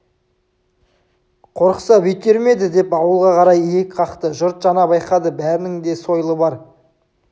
қорықса бүйтер ме еді деп ауылға қарай иек қақты жұрт жаңа байқады бәрінің де сойылы бар